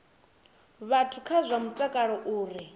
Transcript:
vhathu kha zwa mutakalo uri